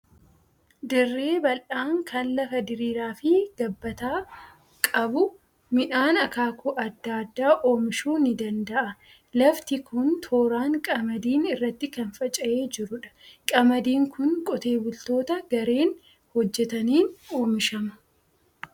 Dirree bal'aan kan lafa diriiraa fi gabbataa qabu, midhaan akaakuu adda addaa oomishuu ni danda'a. Lafti kun tooraan qamadiin irratti kan faca'ee jirudha. Qamadiin kun qotee bultoota gareen hojjetaniin oomishama.